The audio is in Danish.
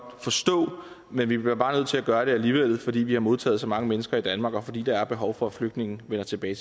forstå men vi bliver bare nødt til at gøre det alligevel fordi vi har modtaget så mange mennesker i danmark og fordi der er behov for at flygtninge vender tilbage